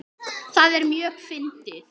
Það er mjög fyndið.